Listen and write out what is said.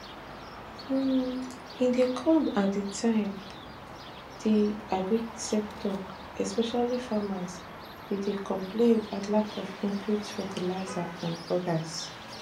um im dey come at a time di agric sector especially farmers bin dey complain about lack of inputs fertilizers and odas